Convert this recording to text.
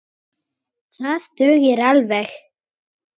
Það dugir alveg.